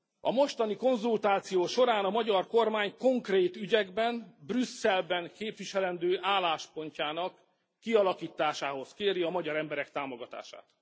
A mostani konzultáció során a magyar kormány konkrét ügyekben Brüsszelben képviselendő álláspontjának kialakításához kéri a magyar emberek támogatását.